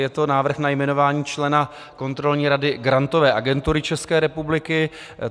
Je to návrh na jmenování člena Kontrolní rady Grantové agentury České republiky.